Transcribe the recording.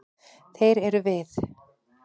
Þeir eru við.